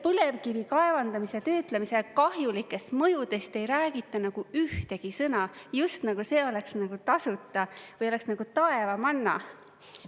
Põlevkivi kaevandamise töötlemise kahjulikest mõjudest ei räägita ühtegi sõna, just nagu see oleks tasuta või oleks nagu taevamanna.